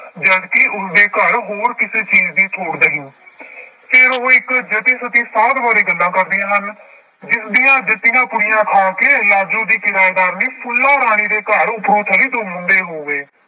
ਜਦ ਕਿ ਉਸਦੇ ਘਰ ਹੋਰ ਕਿਸੇ ਚੀਜ਼ ਦੀ ਥੋੜ੍ਹ ਨਹੀਂ ਫਿਰ ਉਹ ਇੱਕ ਜਤੀ ਸਤੀ ਸਾਧ ਬਾਰੇ ਗੱਲਾਂ ਕਰਦੀਆਂ ਹਨ, ਜਿਸਦੀਆਂ ਦਿੱਤੀਆਂ ਪੁੜੀਆਂ ਖਾ ਕੇ ਲਾਜੋ ਦੀ ਕਿਰਾਏਦਾਰਨੀ ਫੁੱਲਾਂ ਰਾਣੀ ਦੇ ਘਰ ਦੋ ਮੁੰਡੇ ਹੋ ਗਏ।